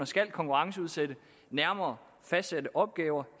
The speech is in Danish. skal konkurrenceudsætte nærmere fastsatte opgaver